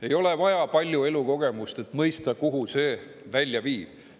Ei ole vaja palju elukogemust, et mõista, kuhu see välja viib.